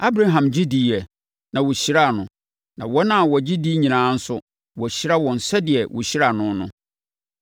Abraham gye diiɛ, na wɔhyiraa no, na wɔn a wɔgye di nyinaa nso, wɔahyira wɔn sɛdeɛ wɔhyiraa no no.